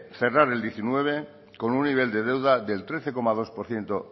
cerrar el diecinueve con un nivel de deuda del trece coma dos por ciento